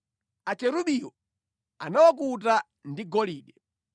Akerubiwo anawakuta ndi golide.